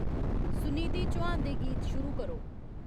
सुनिधि चौहान दे गीत शुरू करो